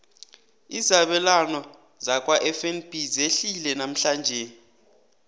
izabelwana zakwafnb zehlile namhlanje